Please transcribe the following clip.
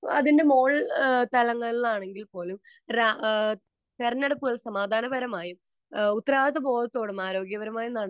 അതിന്റെ മുകൾ തലങ്ങളിൽ ആണെങ്കിൽ പോലും തെരഞ്ഞെടുപ്പ് സമാധാനപരമായും ഉത്തരവാദബോധത്തോടും ആരോഗ്യപരമായും